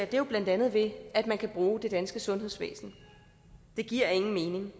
det er jo blandt andet ved at man kan bruge det danske sundhedsvæsen det giver ingen mening